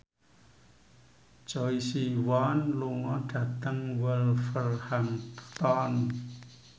Choi Siwon lunga dhateng Wolverhampton